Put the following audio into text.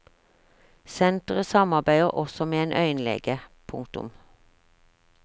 Senteret samarbeider også med en øyenlege. punktum